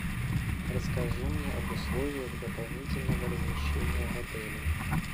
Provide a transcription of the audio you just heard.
расскажи мне об условиях дополнительного размещения в отеле